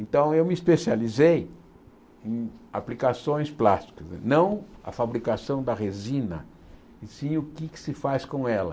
Então eu me especializei em aplicações plásticas, não a fabricação da resina, e sim o que é que se faz com ela.